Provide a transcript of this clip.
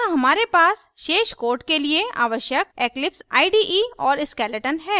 यहाँ हमारे पास शेष code के लिए आवश्यक eclipse ide और skeleton है